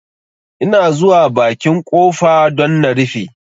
Ina zuwa bakin ƙofa don na rufe